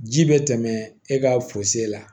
Ji bɛ tɛmɛ e ka la